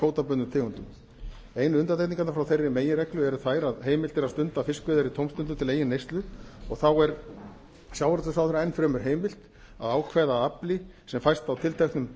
kvótabundnum tegundum einu undantekningarnar frá þeirri meginreglu eru þær að heimilt er að stunda fiskveiðar í tómstundum til eigin neyslu og þá er sjávarútvegsráðherra enn fremur heimilt að ákveða að afli sem fæst á tilteknum